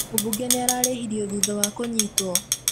Mũbunge nĩararĩhirio thutha wa kũnyitwo